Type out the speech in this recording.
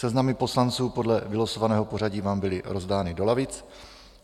Seznamy poslanců podle vylosovaného pořadí vám byly rozdány do lavic.